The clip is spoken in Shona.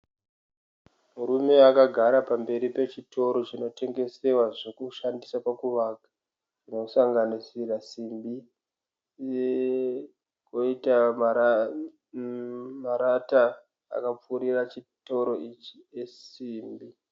Murume akagara pamberi pechitoro chinotengesewa zvokushandisa pakuvaka zvinosanganisira simbi koita marata akapfurira chitoro ichi esimbi.